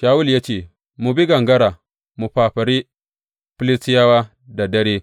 Shawulu ya ce, Mu bi gangara mu fafare Filistiyawa da dare